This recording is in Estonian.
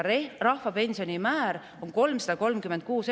Rahvapensioni määr on 336 eurot.